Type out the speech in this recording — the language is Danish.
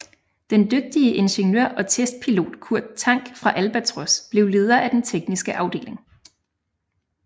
Den dygtige ingeniør og testpilot Kurt Tank fra Albatros blev leder af den tekniske afdeling